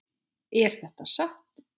Er þetta satt?